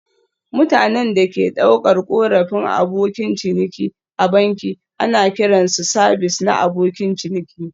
Mutanen da ke ɗaukar korafin Abokan ciniki a banki ana kiran su sabis na abokin ciniki